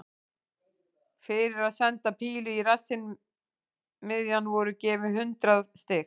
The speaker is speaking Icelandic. Fyrir að senda pílu í rassinn miðjan voru gefin hundrað stig.